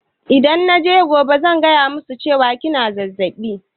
Idan naje gobe zan faɗa musu cewa kina zazzaɓi